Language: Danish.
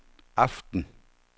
aften